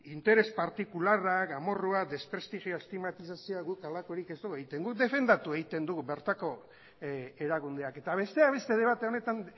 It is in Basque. interes partikularrak amorrua desprestigio estigmatizazioak guk halakorik ez dugu egiten guk defendatu egiten dugu bertako erakundeak eta besteak beste debate honetan